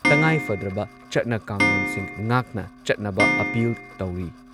ꯇꯉꯥꯏꯐꯗ꯭ꯔꯕ ꯆꯠꯅ ꯀꯥꯡꯂꯣꯟꯁꯤꯡ ꯉꯥꯛꯅ ꯆꯠꯅꯕ ꯑꯥꯄꯤꯜ ꯇꯧꯔꯤ꯫